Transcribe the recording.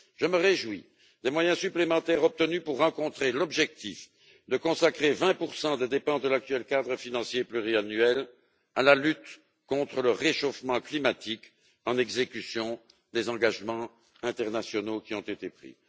Je me réjouis des moyens supplémentaires obtenus pour atteindre l'objectif de consacrer 20 des dépenses de l'actuel cadre financier pluriannuel à la lutte contre le réchauffement climatique en exécution des engagements internationaux qui ont été pris.